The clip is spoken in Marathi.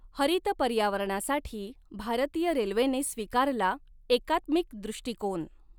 हरित पर्यावरणासाठी भारतीय रेल्वेने स्वीकारला एकात्मिक दृष्टिकॊन